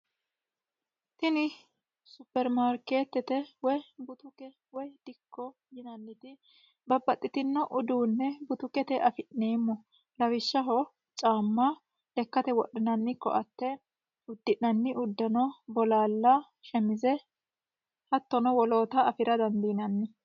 tini supermaarkeettete woy butuke woy dikko yinanniti babbaxxitino uduunne butukete afi'neemmo lawishshaho caamma lekkate wodhinanni koatte uddi'nanni uddano bolaalla shemize hattono woloota afira dandiinanni